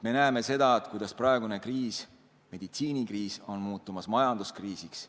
Me näeme seda, kuidas praegune kriis, eelkõige meditsiinikriis, on muutumas majanduskriisiks.